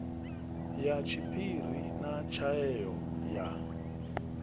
ya tshiphiri na tshaeo ya